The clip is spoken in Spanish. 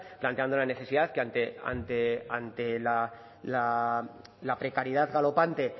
planteando la necesidad que ante la precariedad galopante